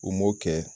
U m'o kɛ